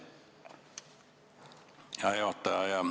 Hea juhataja!